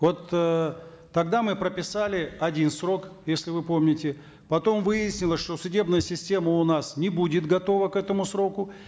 вот эээ тогда мы прописали один срок если вы помните потом выяснилось что судебная система у нас не будет готова к этому сроку